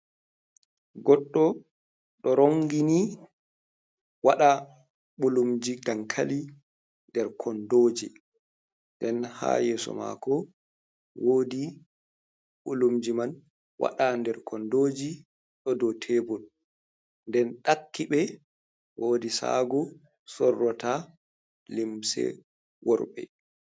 Goɗɗo ɗo rongini waɗa ɓulumji dankali nder kondoji. Nden ha yeso mako wodi ɓulumji man waɗai nder kondoji ɗo dou tebul. Nden ɗakki ɓe wodi sagu sorrota limse worɓe.